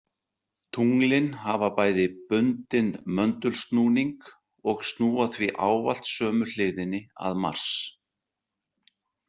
Tunglin hafa bæði bundinn möndulsnúning og snúa því ávallt sömu hliðinni að Mars.